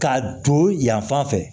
Ka don yan fan fɛ